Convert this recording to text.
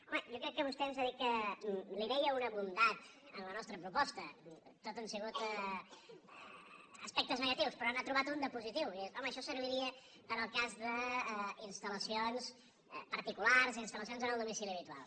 home jo crec que vostè ens ha dit que hi veia una bondat en la nostra proposta tot han sigut aspectes ne·gatius però n’ha trobat un de positiu que és home això serviria per al cas d’instal·lacions particulars instal·lacions en el domicili habitual